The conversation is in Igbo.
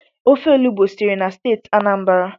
Ofe olubo sitere na steeti Anambra